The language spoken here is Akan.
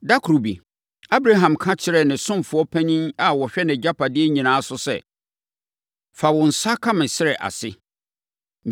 Ɛda koro bi, Abraham ka kyerɛɛ ne ɔsomfoɔ panin a ɔhwɛ nʼagyapadeɛ nyinaa so sɛ, “Fa wo nsa ka me srɛ ase.